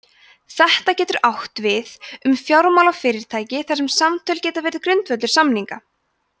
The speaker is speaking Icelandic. þetta getur átt við um fjármálafyrirtæki þar sem samtöl geta verið grundvöllur samninga